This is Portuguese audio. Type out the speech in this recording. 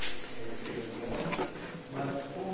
Era uma empresa menor, mas como...